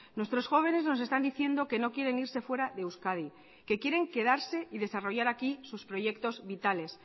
nuestros jóvenes nos están diciendo que no quieren irse fuera de euskadi que quieren quedarse y desarrollar aquí sus proyectos vitales